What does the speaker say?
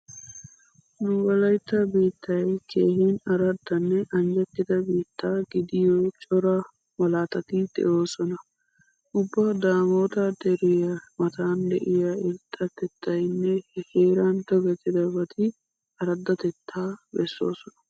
Nu wolaytta biittay keehin araddanne anjjettida biitta gidiyo cora malaatati de'oosona. Ubba daamoota deriua matan diua irxxatettynne he heeran tokettidabati araddatettaa bessoosona.